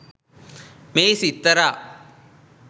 මේ සිත්තරා